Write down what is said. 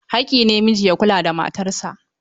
Haƙƙi ne miji ya kula da matarsa.